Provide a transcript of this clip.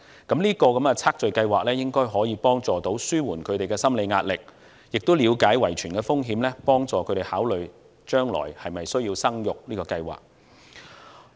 這項基因組測序計劃應可幫助紓緩他們的心理壓力，亦能了解到遺傳的風險，幫助他們考慮將來的生育計劃。